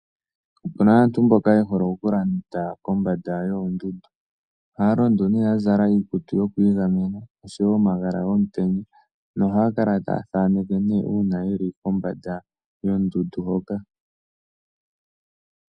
Opuna aantu mboka ye hole okulonda kombanda yoondundu. Ohaya londo nee ya zala iikutu yokwiigamena oshowo omagala gomutenya nohaya kala taya thaaneke nee uuna yeli kombanda yondundu hoka.